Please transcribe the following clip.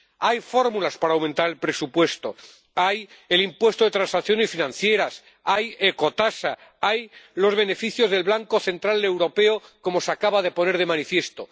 Hay fórmulas para aumentar el presupuesto está el impuesto de transacciones financieras, está la ecotasa, están los beneficios del Banco Central Europeo —como se acaba de poner de manifiesto—.